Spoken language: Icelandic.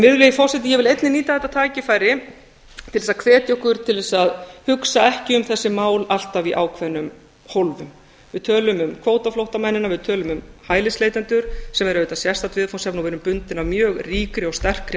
virðulegi forseti ég vil einnig nýta þetta tækifæri til að hvetja okkur til að hugsa ekki um þessi mál alltaf í ákveðnum hólfum við tölum um kvótaflóttamennina við tölum um hælisleitendur sem eru auðvitað sérstakt viðfangsefni og við erum bundin af mjög ríkri og sterkri